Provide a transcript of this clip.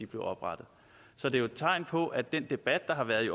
blev oprettet så det er et tegn på at den debat der har været i